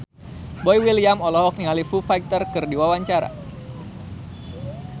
Boy William olohok ningali Foo Fighter keur diwawancara